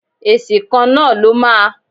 Èsì kan náà ló máa.